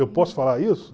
Eu posso falar isso?